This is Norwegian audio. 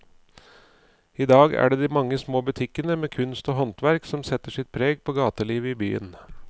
I dag er det de mange små butikkene med kunst og håndverk som setter sitt preg på gatelivet i byen.